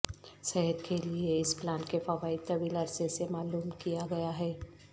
صحت کے لئے اس پلانٹ کے فوائد طویل عرصے سے معلوم کیا گیا ہے